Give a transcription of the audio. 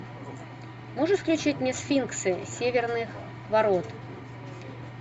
можешь включить мне сфинксы северных ворот